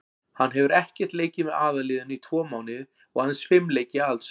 Hann hefur ekkert leikið með aðalliðinu í tvo mánuði og aðeins fimm leiki alls.